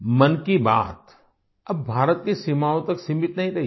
मन की बात अब भारत की सीमाओं तक सीमित नहीं रही है